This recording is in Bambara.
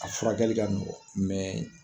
A furakɛli ka nɔgɔn